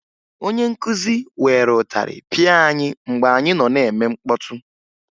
Onye nkụzi were ịtarị pịa anyị mgbe anyị nọ na-eme mkpọtụ